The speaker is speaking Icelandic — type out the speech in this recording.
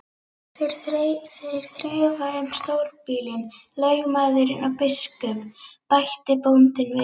Þeir þrefa um stórbýlin, lögmaðurinn og biskup, bætti bóndinn við.